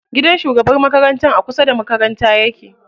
Gidan shugabar makarantar a kusa da makaranta yake.